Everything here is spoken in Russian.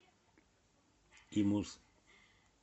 имус